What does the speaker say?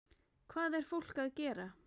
Hvað er fólk að gera?